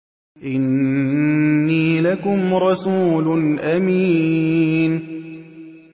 إِنِّي لَكُمْ رَسُولٌ أَمِينٌ